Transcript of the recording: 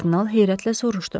Kardinal heyrətlə soruşdu.